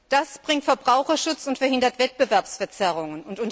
Das bringt Verbraucherschutz und verhindert Wettbewerbsverzerrungen.